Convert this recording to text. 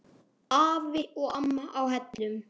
Afi og amma á Hellum.